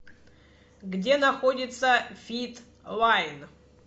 где находится фит лайн